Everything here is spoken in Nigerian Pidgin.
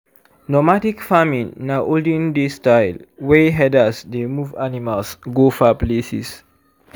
normadic farming na olden days style wey herders dey move animals go far places